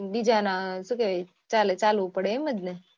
બીજા ના ચાલે ચાલવું પડે એમજ ને